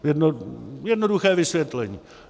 Jednoduché vysvětlení.